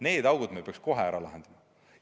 Need augud me peaks kohe ära täitma.